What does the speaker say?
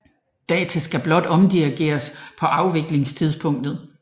Data skal blot omdirigeres på afviklingstidspunktet